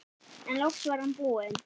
En loks var hann búinn.